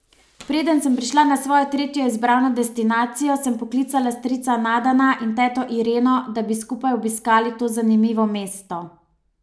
Preden sem prišla na svojo tretjo izbrano destinacijo, sem poklicala strica Nadana in teto Ireno, da bi skupaj obiskali to zanimivo mesto.